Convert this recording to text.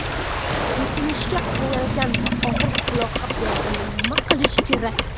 Yutinishga qiynalganda va og‘riq quloqqa berganda nima qilish kerak?.